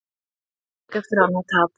Blikar úr leik eftir annað tap